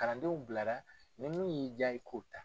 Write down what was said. Kalandenw bilara ni min y'i jaa i ko ta.